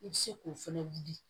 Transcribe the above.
I bɛ se k'o fɛnɛ wuli